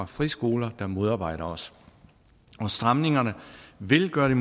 friskoler der modarbejder os stramningerne vil gøre det